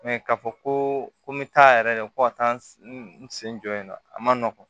k'a fɔ ko n bɛ taa yɛrɛ de ko ka taa n sen jɔ yen nɔ a ma nɔgɔn